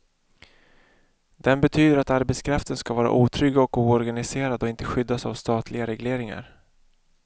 Den betyder att arbetskraften ska vara otrygg och oorganiserad och inte skyddas av statliga regleringar.